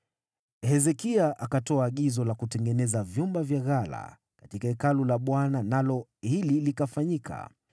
Hezekia akatoa agizo la kutengeneza vyumba vya ghala katika Hekalu la Bwana nalo hili likafanyika.